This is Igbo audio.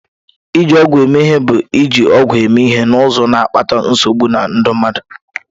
Iji ọgwụ eme ihe bụ iji ọgwụ eme ihe n'ụzọ na-akpata nsogbu na ndụ mmadụ.